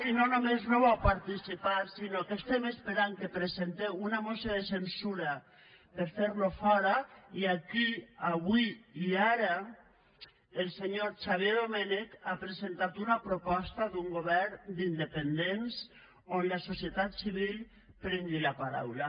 i no només no hi vau participar sinó que estem esperant que presenteu una moció de censura per a fer lo fora i aquí avui i ara el senyor xavier domènech ha presentat una proposta d’un govern d’independents on la societat civil prengui la paraula